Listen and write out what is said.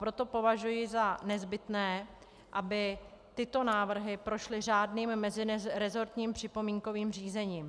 Proto považuji za nezbytné, aby tyto návrhy prošly řádným meziresortním připomínkovým řízením.